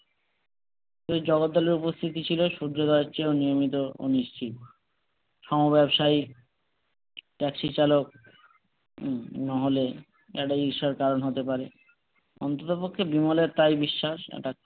এই জগদ্দলের উপস্থিতি ছিল সূর্যোদয়ের চেয়েও নিয়মিত নিশ্চিত, সমব্যাবসায়ী ট্যাক্সি চালক উম নাহলে কেন ঈর্ষার কারণ হতে পারে, অন্ততপক্ষে বিমলের তাই বিশ্বাস এটা